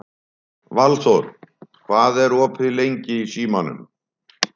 Valþór, hvað er opið lengi í Símanum?